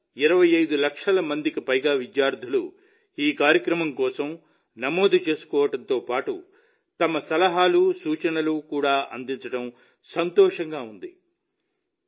కోట్ల 25 లక్షల మందికి పైగా విద్యార్థులు ఈ కార్యక్రమం కోసం నమోదు చేసుకోవడంతో పాటు తమ ఇన్పుట్లను కూడా అందించడం సంతోషంగా ఉంది